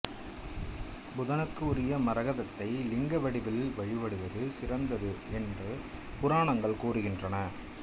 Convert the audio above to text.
புதனுக்கு உரிய மரகதத்தை லிங்க வடிவில் வழிபடுவது சிறந்தது என்று புராணங்கள் கூறுகின்றன